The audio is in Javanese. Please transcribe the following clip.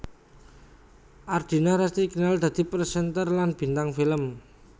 Ardina Rasti dikenal dadi presenter lan bintang film